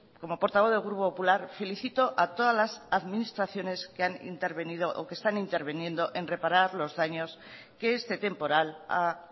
como portavoz del grupo popular felicito a todas las administraciones que han intervenido o que están interviniendo en reparar los daños que este temporal ha